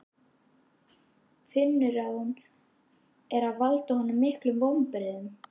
Finnur að hún er að valda honum miklum vonbrigðum.